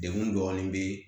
Degun dɔɔnin be yen